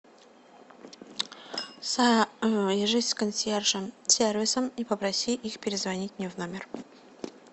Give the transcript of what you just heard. свяжись с консьерж сервисом и попроси их перезвонить мне в номер